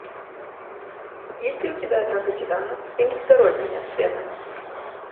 есть ли у тебя атака титанов фильм второй конец света